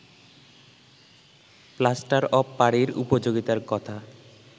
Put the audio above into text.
plaster of পারী’র উপযোগিতার কথা